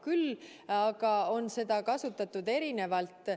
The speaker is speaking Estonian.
Küll aga on seda kasutatud erinevalt.